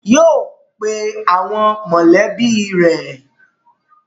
Yóò pe àwọn mọ̀lẹ́bí rẹ̀!